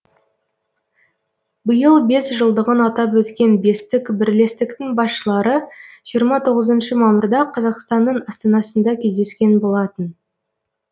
биыл бес жылдығын атап өткен бестік бірлестіктің басшылары жиырма тоғызыншы мамырда қазақстанның астанасында кездескен болатын